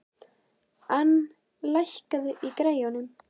Ann, lækkaðu í græjunum.